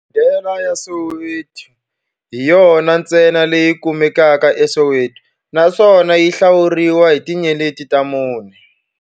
Hodela ya Soweto hi yona ntsena leyi kumekaka eSoweto, naswona yi hlawuriwa hi tinyeleti ta mune.